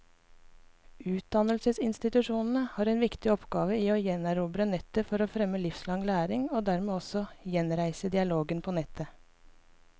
Utdannelsesinstitusjonene har en viktig oppgave i å gjenerobre nettet for å fremme livslang læring, og dermed også gjenreise dialogen på nettet.